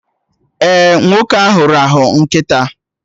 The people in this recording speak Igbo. Ee, nwoke ahụ rahụ nkịta